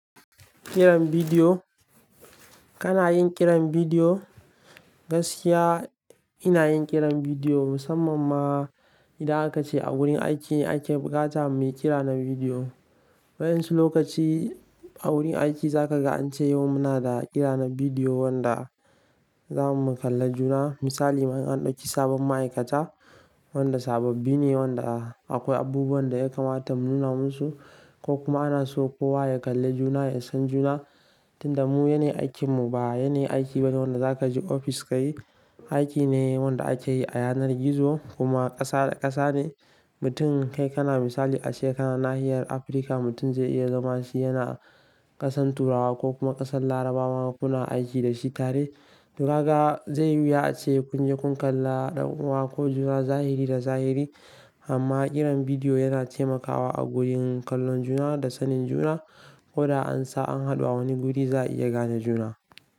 Kiran bidiyo, kana yin kiran bidiyo? Gaskiya, ina yin ƙiran bidiyo musamman ma, idan aka ce a gurin aiki ake buƙata mu yi kira na bidiyo. Waƴansu lokaci, a wurin aiki za ka ga an ce yau muna da kira na bidiyo wanda, zamu kalla juna. Misali ma n an ɗauki sabon ma'aikata, wanda sababbi ne, wanda akwai abubuwan da ya kamata mu nuna musu, ko kuma ana so kowa ya kalla juna ya san juna, Tunda mu yanayin aikin mu, ba yanayin aiki bane wanda za ka je ofis ka yi, aiki ne wanda ake yi a yanar gizo, kuma ƙasa da ƙasa ne, Mutum, kai kana misali ace kana nahiyar Afirka mutum zai iya zama shi yana ƙasan Turawa ko kuma ƙasan Larabawa kuna aiki da shi tare. Dukaga, zai yi wuya ace kunje kun kalla ɗan kuwa ko juna zahiri da zahiri, amma ƙiran bidiyo yana taimakawa a gurin kallon juna, da sanin juna, ko da an sa an haɗu a wani guri za a iya gane juna.